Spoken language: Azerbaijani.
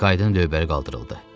Kinkaydin lövbəri qaldırıldı.